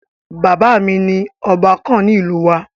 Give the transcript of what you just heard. Bàbá mi ni ọba kàn ní ìlú wa.